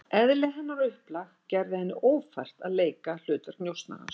Eðli hennar og upplag gerði henni ófært að leika hlutverk njósnarans.